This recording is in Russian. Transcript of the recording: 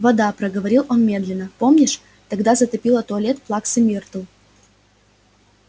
вода проговорил он медленно помнишь тогда затопило туалет плаксы миртл